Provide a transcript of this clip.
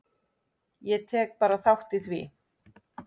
Ég tek bara þátt í því.